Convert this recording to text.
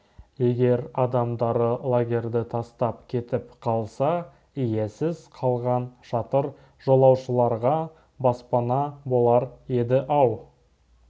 егер адамдары лагерьді тастап кетіп қалса иесіз қалған шатыр жолаушыларға баспана болар еді-ау